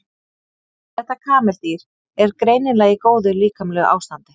Þetta kameldýr er greinilega í góðu líkamlegu ástandi.